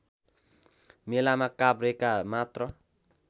मेलामा काभ्रेका मात्र